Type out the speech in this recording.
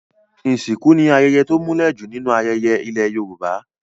Ìsìnkú ni ayẹyẹ to múlẹ̀ jù nínú ayẹyẹ ilẹ̀ Yorùbá.